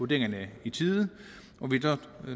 det